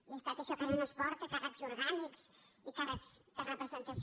i he estat això que ara no es porta càrrecs orgànics i càrrecs de representació